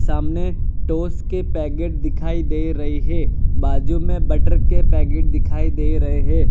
सामने टॉस के पैकेट दिखाई दे रही है। बाजू में बटर के पैकेट दिखाई दे रहे हैं।